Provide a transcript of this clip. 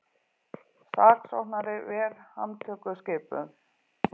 Saksóknari ver handtökuskipun